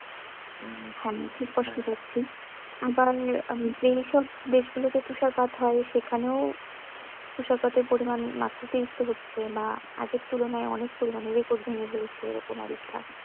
উম হ্যাঁ খুব কষ্ট পাচ্ছে আবার আহ যে সব দেশগুলোতে তুষারপাত হয় সেখানেও তুষারপাত এর পরিমান মাত্রাতিরিক্ত হচ্ছে বা আগের তুলনায় অনেক পরিমানে record ভেঙে ফেলছে এরকম অবস্থা